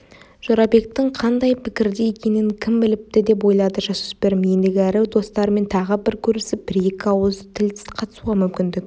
жорабектің қандай пікірде екенін кім біліпті деп ойлады жасөспірім ендігәрі достарыммен тағы бір көрісіп бір-екі ауыз тіл қатысуға мүмкіндік